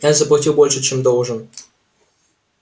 я заплатил больше чем должен